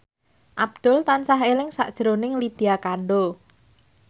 Abdul tansah eling sakjroning Lydia Kandou